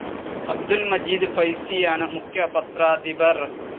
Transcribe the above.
അബ്ദുൽ മജീദ് ഫൈസിയാണ് മുഖ്യ പത്രാധിപർ.